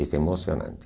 És emocionante.